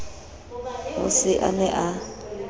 o se a ne a